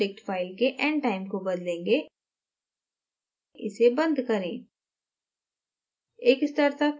हम controldict file के end time को बदलेंगे इसे बंद करें